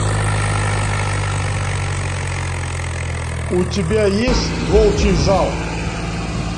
у тебя есть волчий зал